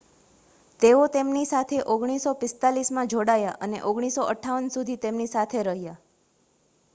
તેઓ તેમની સાથે 1945માં જોડાયા અને 1958 સુધી તેમની સાથે રહ્યા